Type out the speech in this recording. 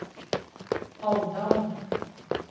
Alvdal